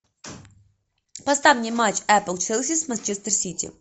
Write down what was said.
поставь мне матч апл челси с манчестер сити